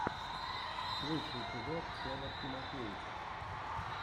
лучший эпизод федор тимофеев